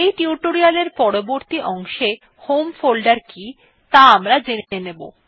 এই টিউটোরিয়াল এর পরবর্তী অংশে হোম ফোল্ডার কি ত়া আমরা জেনে নেব